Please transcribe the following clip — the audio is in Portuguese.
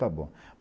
Está bom.